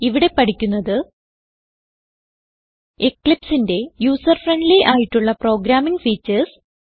ഇവിടെ പഠിക്കുന്നത് Eclipseന്റെ യൂസർ ഫ്രെൻഡ്ലി ആയിട്ടുള്ള പ്രോഗ്രാമിംഗ് ഫീച്ചർസ്